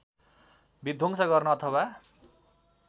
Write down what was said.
विध्वंस गर्न अथवा